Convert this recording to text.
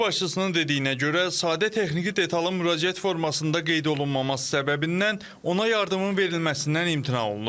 Ailə başçısının dediyinə görə, sadə texniki detalın müraciət formasında qeyd olunmaması səbəbindən ona yardımın verilməsindən imtina olunub.